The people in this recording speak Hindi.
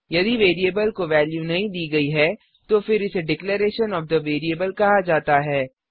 यदि वेरिएबल को वेल्यू नहीं दी गयी है तो फिर इसे डिक्लेरेशन ओएफ थे वेरिएबल कहा जाता है